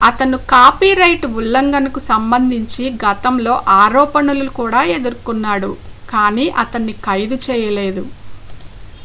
అతను కాపీరైట్ ఉల్లంఘనకు సంబంధించి గతంలో ఆరోపణలు కూడా ఎదుర్కొన్నాడు కానీ అతన్ని ఖైదు చేయలేదు